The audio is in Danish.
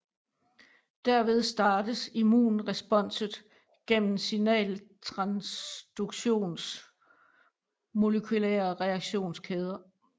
Derved startes immunresponset gennem signaltransduktions molekylære reaktionskæder